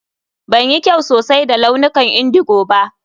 Ban yi kyau sosai da launukan indigo ba.